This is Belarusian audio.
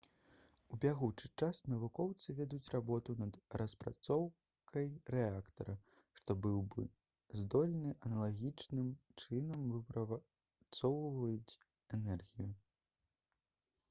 у бягучы час навукоўцы вядуць работу над распрацоўкай рэактара што быў бы здольны аналагічным чынам выпрацоўваць энергію